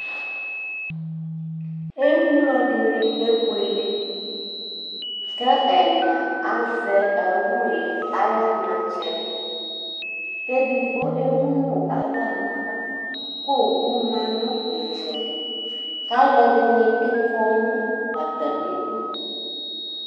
Emlo dɩnɩ kebuele kʋ ɛna azɛ awu yɛ ayʋ anatsɛ kʋ edigbo emu nʋ aɣla nʋ ava kʋ owu ma nʋ ɩtsɛdɩ kʋ alʋɛdɩnɩ bɩ kɔ nʋ atamɩdu